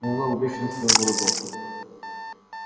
мэллоу в бешенстве выругался